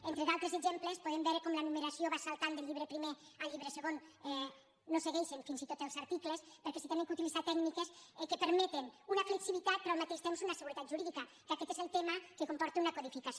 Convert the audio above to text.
entre d’altres exemples podem veure com la numeració va saltant del llibre primer al llibre segon no segueixen fins i tot els articles perquè s’han d’utilitzar tècniques que permeten una flexibilitat però al mateix temps una seguretat jurídica que aquest és el tema que comporta una codificació